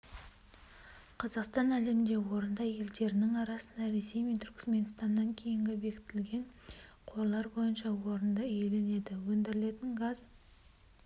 қазақстан әлемде орында елдерінің арасында ресей мен түрікменстаннан кейін бекітілген қорлар бойынша орынды иеленеді өндірілетін газ